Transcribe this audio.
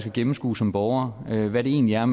at gennemskue som borger hvad det egentlig er